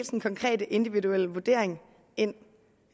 den konkrete individuelle vurdering ind